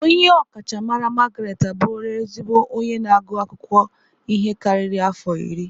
Onye ọkachamara Margaret abụrụla ezigbo onye na-agụ akwụkwọ ihe karịrị afọ iri.